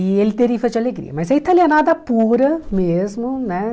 E ele deriva de alegria, mas é italianada pura mesmo, né?